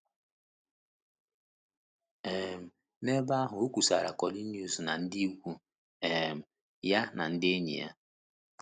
um N’ebe ahụ, o kwusara Cornelius na ndị ikwu um ya na ndị enyi ya.